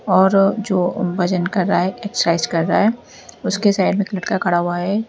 और जो वजन कर रहा है एक्सरसाइज कर रहा है उसके साइड में लडका खड़ा हुआ है।